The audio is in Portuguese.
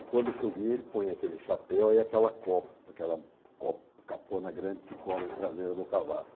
E quando chovia, ele põe aquele chapéu e aquela co aquela co capona grande que cobre a traseira do cavalo.